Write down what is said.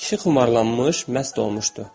Kişi xumarlanmış, məst olmuşdu.